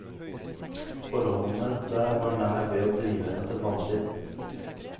Forholdene der var nær ved å drive henne til vanvidd.